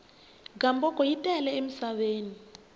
gamboko yi tele entshaveni